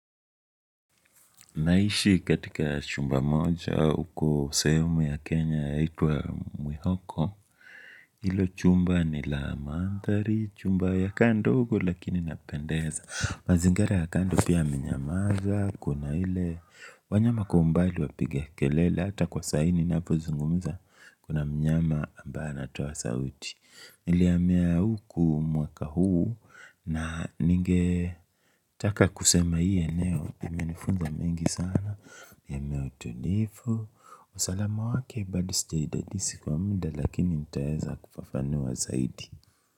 Naishi katika chumba moja uko sehemu ya Kenya yaitwa Mwihoko hilo chumba ni la mandhari, chumba yakaa ndogo lakini inapendeza. Mazingara ya kando pia amenyamaza, kuna ile wanyama kwa umbali wapiga kelele hata kwa saa hii ninapozungumza, kuna mnyama ambaye anatoa sauti nilihamia huku mwaka huu na ninge taka kusema hii eneo imenifunza mengi sana, eneo tulivu, usalama wake bado sijaidisi kwa muda lakini nitaeza kufafanua zaidi.